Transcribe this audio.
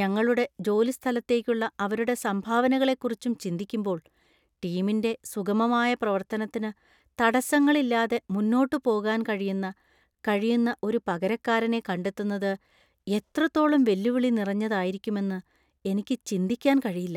ഞങ്ങളുടെ ജോലിസ്ഥലത്തേക്കുള്ള അവരുടെ സംഭാവനകളെക്കുറിച്ചും ചിന്തിക്കുമ്പോൾ, ടീമിന്‍റെ സുഗമമായ പ്രവത്തനത്തിനു തടസ്സങ്ങളില്ലാതെ മുന്നോട്ട് പോകാൻ കഴിയുന്ന കഴിയുന്ന ഒരു പകരക്കാരനെ കണ്ടെത്തുന്നത് എത്രത്തോളം വെല്ലുവിളി നിറഞ്ഞതായിരിക്കുമെന്ന് എനിക്ക് ചിന്തിക്കാൻ കഴിയില്ല.